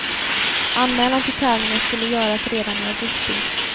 Anmälan till tävlingen skulle göras redan i augusti.